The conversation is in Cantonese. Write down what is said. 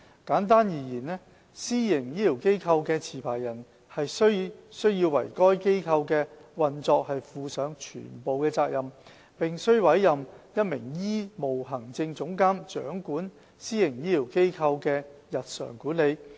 簡單而言，私營醫療機構的持牌人須為該機構的運作負上全部責任，並須委任一名醫務行政總監掌管私營醫療機構的日常管理。